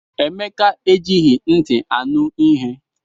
Emeka ejighị nti ya anụ ihe.